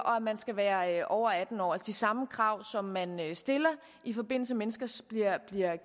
og han skal være over atten år altså de samme krav som man stiller når mennesker bliver